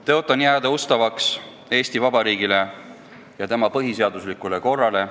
Tõotan jääda ustavaks Eesti Vabariigile ja tema põhiseaduslikule korrale.